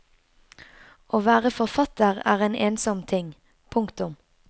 Å være forfatter er en ensom ting. punktum